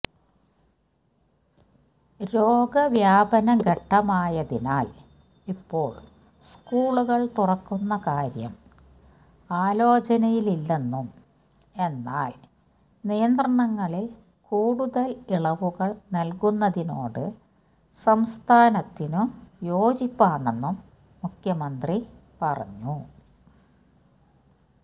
രോഗവ്യാപനഘട്ടമായതിനാൽ ഇപ്പോൾ സ്കൂളുകൾ തുറക്കുന്ന കാര്യം ആലോചനയിലില്ലെന്നും എന്നാൽ നിയന്ത്രണങ്ങളിൽ കൂടുതൽ ഇളവുകൾ നൽകുന്നതിനോട് സംസ്ഥാനത്തിനു യോജിപ്പാണെന്നും മുഖ്യമന്ത്രി പറഞ്ഞു